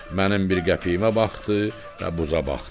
Mənim bir qəpiyimə baxdı və buza baxdı.